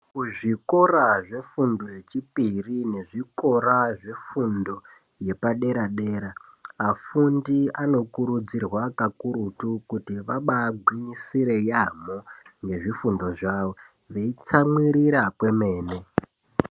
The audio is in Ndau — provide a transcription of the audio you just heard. Kuzvikora zvefundo yechipiri nezviora zvezvifundo yepadera dera vafundi ano kurudzirwa kakurutu kuti ambai gwinyisire yambo ngezvifundo zvavo vei tsamwirira kwemene.